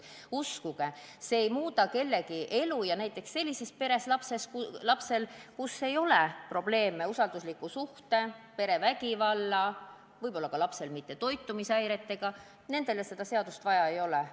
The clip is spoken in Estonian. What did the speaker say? Uskuge, see seadus ei muuda kellegi elu halvemaks, ja näiteks sellise pere lapsel, kus ei ole probleeme usaldusliku suhte ega perevägivallaga, seda seadust vaja ei ole.